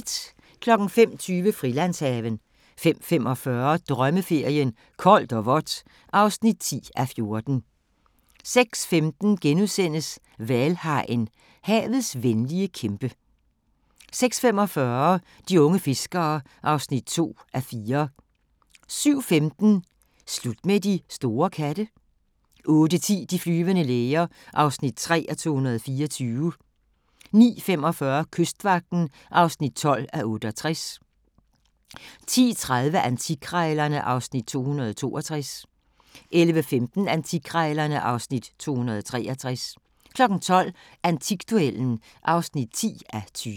05:20: Frilandshaven 05:45: Drømmeferien: Koldt og vådt (10:14) 06:15: Hvalhajen – havets venlige kæmpe * 06:45: De unge fiskere (2:4) 07:15: Slut med de store katte? 08:10: De flyvende læger (3:224) 09:45: Kystvagten (12:68) 10:30: Antikkrejlerne (Afs. 262) 11:15: Antikkrejlerne (Afs. 263) 12:00: Antikduellen (10:20)